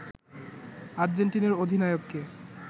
আর্জেন্টিনার অধিনায়ককে